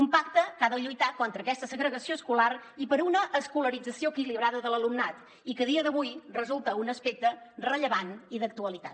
un pacte que ha de lluitar contra aquesta segregació escolar i per una escolarització equilibrada de l’alumnat i que a dia d’avui resulta un aspecte rellevant i d’actualitat